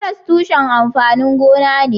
Karas tushen amfanin gona ne.